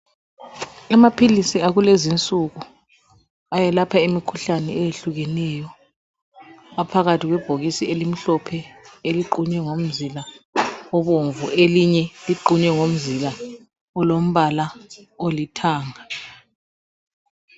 Amaphilisi akulezi insuku aphakathi kwebhokisi elimhlophe eliqunye ngomzila obomvu elinye liqunye ngomzila olombala olithanga.